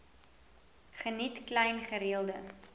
geniet klein gereelde